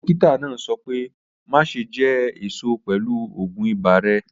Dọ́kítà náà sọ̀ pẹ̀ máṣẹ̀ jẹ́ èṣọ̀ pẹ̀lú ọ̀gún ìbà rẹ̀.